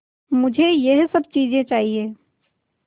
मुझे यह सब चीज़ें चाहिएँ